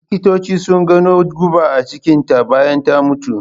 Likitocin su gano guba a cikin ta bayan ta mutu